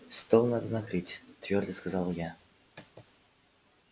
стол надо накрыть твёрдо сказала я